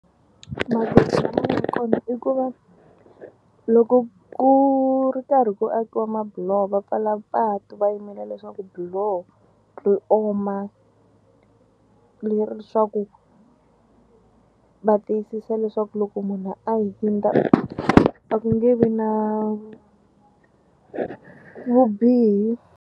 ya kona i ku va loko ku ri karhi ku akiwa mabuloho va pfala patu va yimela leswaku biloho ri oma leri swa ku va tiyisisa leswaku loko munhu a hundza a ku nge vi na vubihi.